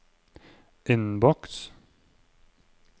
innboks